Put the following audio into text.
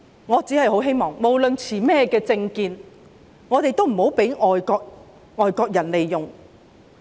我只是希望不論我們的政見為何，也不要被外國人利用。